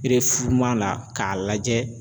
la k'a lajɛ